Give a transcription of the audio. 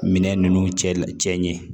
Minɛn ninnu cɛ ɲɛ